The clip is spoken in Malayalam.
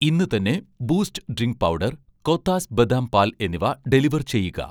ഇന്ന് തന്നെ ബൂസ്റ്റ് ഡ്രിങ്ക് പൗഡർ, കോത്താസ് ബദാം പാൽ എന്നിവ ഡെലിവർ ചെയ്യുക